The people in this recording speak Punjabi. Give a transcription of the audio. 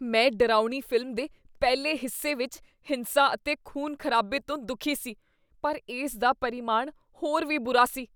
ਮੈਂ ਡਰਾਉਣੀ ਫ਼ਿਲਮ ਦੇ ਪਹਿਲੇ ਹਿੱਸੇ ਵਿੱਚ ਹਿੰਸਾ ਅਤੇ ਖ਼ੂਨ ਖ਼ਰਾਬੇ ਤੋਂ ਦੁਖੀ ਸੀ ਪਰ ਇਸ ਦਾ ਪਰਿਮਾਣ ਹੋਰ ਵੀ ਬੁਰਾ ਸੀ